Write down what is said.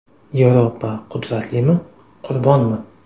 Yevropa: qudratlimi, qurbonmi?